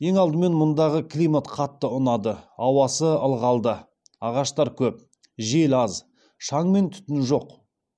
ең алдымен мұндағы климат қатты ұнады ауасы ылғалды ағаштар көп жел аз шаң мен түтін жоқ